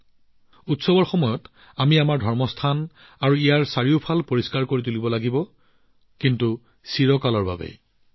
আৰু যেতিয়া উৎসৱৰ পৰিৱেশ হয় তেতিয়া আমাৰ বিশ্বাসৰ ঠাইবোৰ আৰু ইয়াৰ চাৰিওফালে থকা অঞ্চলবোৰ পৰিষ্কাৰ কৰি ৰাখিব লাগে কিন্তু সেয়া সদায়েই হব লাগে